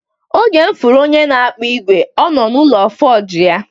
Oge mụ fụrụ onye na akpụ igwe, ọ nọ n'ụlọ fọji ya.